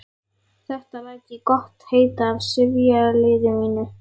Þetta læt ég gott heita af sifjaliði mínu.